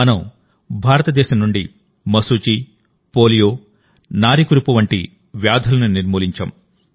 మనం భారతదేశం నుండి మశూచి పోలియో గినియా వార్మ్ వంటి వ్యాధులను నిర్మూలించాం